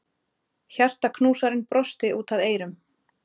Hjartaknúsarinn brosti út að eyrum.